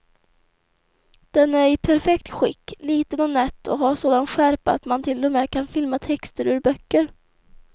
Den är i perfekt skick, liten och nätt och har sådan skärpa att man till och med kan filma texter ur böcker.